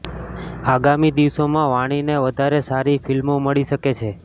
આગામી દિવસોમાં વાણીને વધારે સારી ફિલ્મો મળી શકે છે